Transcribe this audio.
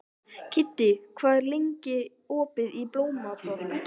Kiddi, hvað er lengi opið í Blómaborg?